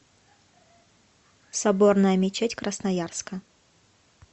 соборная мечеть красноярска